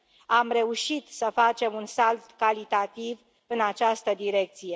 Am reușit să facem un salt calitativ în această direcție.